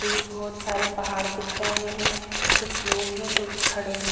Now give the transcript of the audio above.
दूर-दूर तक कई पर्वतों को दर्शाती है कुछ लोग हैं जो उठ खड़े हुए हैं ।